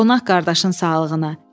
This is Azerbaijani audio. Qonaq qardaşın sağlığına.